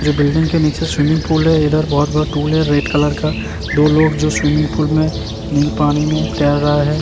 जो बिल्डिंग के नीचे स्विमिंग पूल है इधर बहुत बड़ा टूल है रेड कलर का दो लोग जो स्विमिंग पूल मै नी पानी में तैर रहा है।